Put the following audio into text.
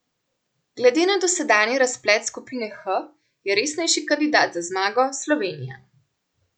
Glede na dosedanji razplet skupine H je resnejši kandidat za zmago Slovenija.